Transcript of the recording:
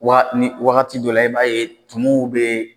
Waa ni wagati dɔw la e b'a ye tumuw bɛ